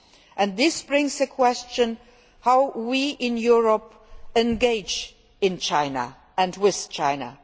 and this raises the question of how we in Europe engage in China and with China.